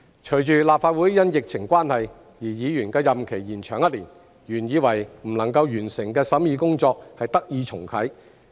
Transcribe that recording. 隨着立法會因疫情關係讓議員的任期延長一年，原以為不能夠完成的審議工作得以重啟。